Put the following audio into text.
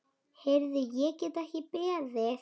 Heyrðu, ég get ekki beðið.